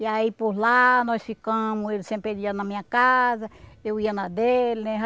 E aí por lá nós ficamos, ele sempre ele ia na minha casa, eu ia na dele, né?